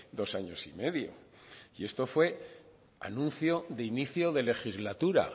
dos años y medio y esto fue anuncio de inicio de legislatura